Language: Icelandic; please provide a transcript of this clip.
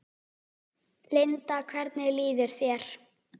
Linda: Hvernig líður þér?